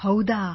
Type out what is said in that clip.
ಹೌದಾ